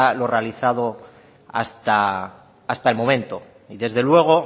lo realizado hasta el momento desde luego